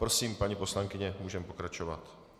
Prosím, paní poslankyně, můžeme pokračovat.